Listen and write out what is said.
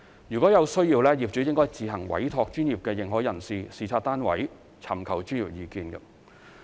如有需要，業主應自行委託專業認可人士視察單位，尋求專業意見。